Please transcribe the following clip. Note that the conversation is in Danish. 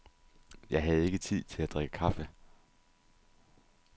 Jeg havde ikke tid til at drikke kaffe.